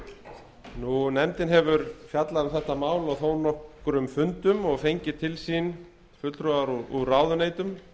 evrópska efnahagssvæðinu nefndin hefur fjallað um þetta mál á þó nokkrum fundum og fengið til sín fulltrúa úr ráðuneytum